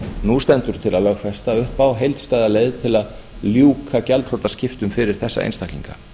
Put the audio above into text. nú stendur til að lögfesta upp á heildstæða leið til að ljúka gjaldþrotaskiptum fyrir þessa einstaklinga